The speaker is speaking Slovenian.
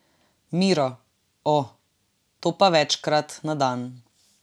Miro: 'O, to pa večkrat na dan.